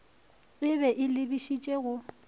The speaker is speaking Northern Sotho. e be e lebišitše go